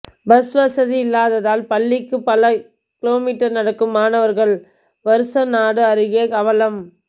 bus வசதி இல்லாததால் பள்ளிக்கு பல கிமீ நடக்கும் மாணவர்கள் வருசநாடு அருகே அவலம்